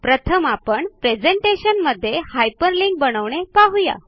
प्रथम आपण प्रेझेंटेशनमध्ये हायपरलिंक बनविणे पहुया